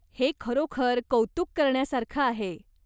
हे खरोखर कौतुक करण्यासारखं आहे.